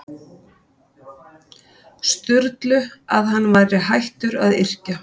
Sturlu að hann væri hættur að yrkja.